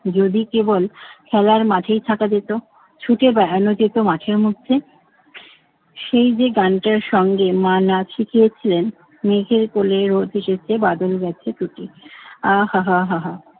যদি কেবল খেলার মাঠেই থাকা যেত, ছুটে বেড়ানো যেত মাঠের মধ্যে, সেই যে গানটার সঙ্গে মা নাচ শিখিয়েছিলেন মেঘের কোলে রোদ হেসেছে বাদল গেছে টুটি আহ হা হা।